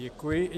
Děkuji.